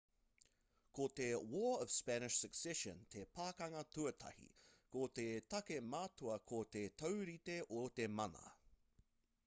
ko te war of spanish succession te pakanga tuatahi ko te take matua ko te taurite o te mana